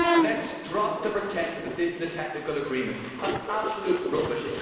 Let us drop the pretence that this is a technical agreement that is absolute rubbish.